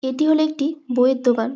এটি হলো একটি বই এর দোকান।